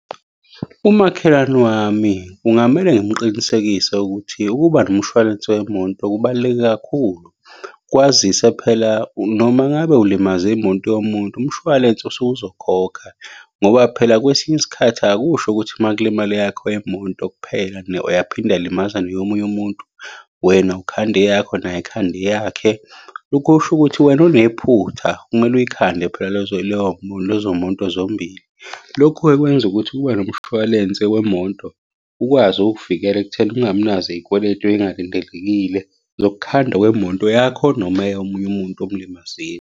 Umakhelwane wami kungamele ngimuqinisekise ukuthi ukuba nomshwalense wemoto kubaluleke kakhulu. Kwazise phela noma ngabe ulimaze imoto yomuntu, umshwalense usuke uzokhokha, ngoba phela kwesinye isikhathi akusho ukuthi uma kulimale eyakho imoto kuphela nayo yaphinde yalimaza neyomunye umuntu, wena ukhanda eyakho, naye akhande eyakhe. Lokho kusho ukuthi wena onephutha kumele uyikhande phela lezo moto zombili. Lokhu-ke kwenza ukuthi kube nomshwalense wemoto ukwazi ukukuvikela ekutheni ungabi nazo iy'kweletu ey'ngalindelekile zokukhandwa kwemoto yakho, noma eyomunye umuntu omulimazile.